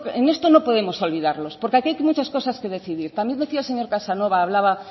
en esto no podemos olvidarlos porque aquí hay muchas cosas que decidir también decía el señor casanova hablaba